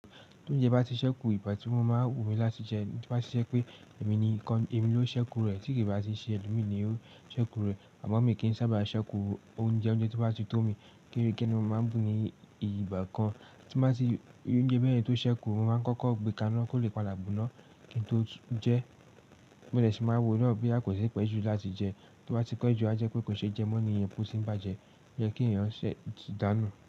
Bí oúnjẹ bá ti ṣẹ́kù igbà tí mo máa ń wù mí láti jẹ, tí bá ṣe pé èmi ni ìkan, èmi ló ṣẹ́kù rẹ̀, tí kì bá ti ṣe ẹlòmíì ni yóò ṣẹ́kù rẹ̀. Àmo mi kì í sábà ṣẹ́kù oúnjẹ, oúnjẹ tó bá ti tó mi, kekere ní mo máa ń bù mí ìgbà kan, tí bá ti, ounjẹ́ bẹ́yen tó ṣẹ́kù, mo máa ń kọ́kọ́ gbékàá náà kó lè padà gboná, kí n tó jẹ, mo dè sì máa wo naa boya kò ti pẹ́jú láti jẹ, tí o bá ti pejú a jẹ́ pé kò ṣe jẹ mọ́ ni yẹn, pe o ti ń bàjẹ́, o yẹ kí èèyàn ṣẹ̀ ti dànù.